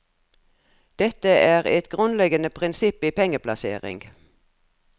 Dette er et grunnleggende prinsipp i pengeplassering.